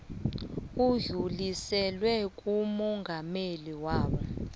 udluliselwe kumongameli bona